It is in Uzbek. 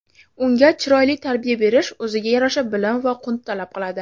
unga chiroyli tarbiya berish o‘ziga yarasha bilim va qunt talab qiladi.